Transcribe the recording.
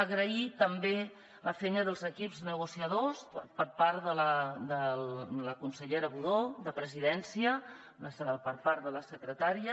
agrair també la feina dels equips negociadors per part de la consellera budó de presidència per part de la secretària